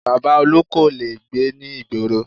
Baba Olu kò lè gbé ní ìgboro